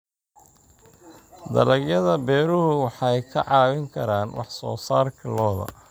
Dalagyada beeruhu waxay kaa caawin karaan wax soo saarka lo'da.